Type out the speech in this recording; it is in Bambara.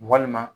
Walima